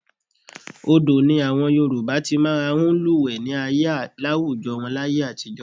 Odò ni àwọn Yorùbá ti máa ń lúwẹ̀ẹ́ ní àwùjọ wọn láyé àtijọ́